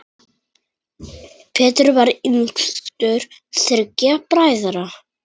Pétur var yngstur þriggja bræðra.